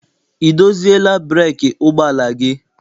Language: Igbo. I doziela breeki ụgbọala gị?